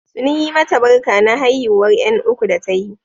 Sun yi mata barka na haihuwar ƴan uku da ta yi.